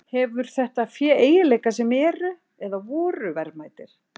Hefur þetta fé eiginleika sem eru, eða voru, verðmætir?